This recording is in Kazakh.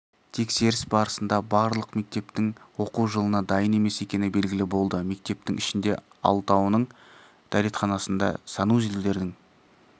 тексеріс барысында барлық мектептің оқу жылына дайын емес екені белгілі болды мектептің ішінде алтауының дәретханасында санузелдердің